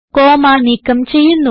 comma നീക്കം ചെയ്യുന്നു